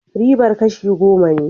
Ribar kashi goma ne